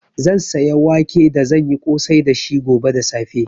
Zan saya wake da zan yi ƙosai dashi gobe da safe.